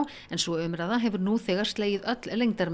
en sú umræða hefur nú þegar slegið öll